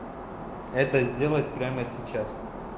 это сделать прямо сейчас